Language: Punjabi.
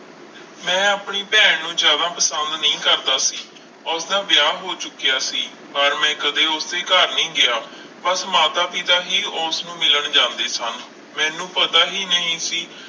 ਮੈਂ ਆਪਣੀ ਭੈਣ ਨੂੰ ਜ਼ਿਆਦਾ ਪਸੰਦ ਨਹੀਂ ਕਰਦਾ ਸੀ ਉਸਦਾ ਵਿਆਹ ਹੋ ਚੁੱਕਿਆ ਸੀ ਪਰ ਮੈਂ ਕਦੇ ਉਸਦੇ ਘਰ ਨਹੀਂ ਗਿਆ, ਬਸ ਮਾਤਾ ਪਿਤਾ ਹੀ ਉਸਨੂੰ ਮਿਲਣ ਜਾਂਦੇ ਸਨ, ਮੈਨੂੰ ਪਤਾ ਹੀ ਨਹੀਂ ਸੀ